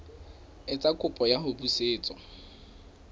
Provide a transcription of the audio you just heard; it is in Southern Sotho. etsa kopo ya ho busetswa